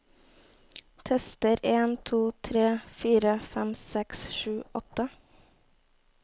Tester en to tre fire fem seks sju åtte